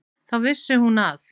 Þá vissi hún að